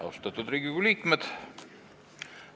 Austatud Riigikogu liikmed!